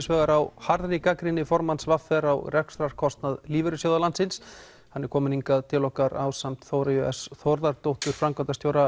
vegar á harðri gagnrýni formanns v r á rekstrarkostnað lífeyrissjóða landsins hann er kominn hingað til okkar ásamt Þóreyju s Þórðardóttur framkvæmdastjóra